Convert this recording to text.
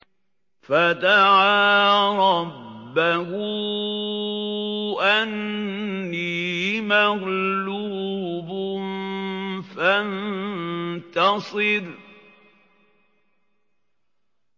فَدَعَا رَبَّهُ أَنِّي مَغْلُوبٌ فَانتَصِرْ